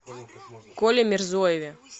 коле мирзоеве